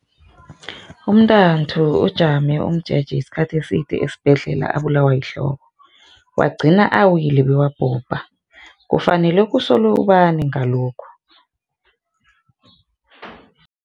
Umntanthu ujame umjeje isikhathi eside esibhedlela abulawa yihloko, wagcina awile bewabhubha. Kufanele kusolwe ubani ngalokhu?